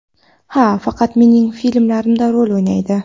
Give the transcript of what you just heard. Ha, faqat mening filmlarimda rol o‘ynaydi.